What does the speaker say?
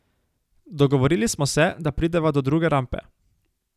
Dogovorili smo se, da prideva do druge rampe.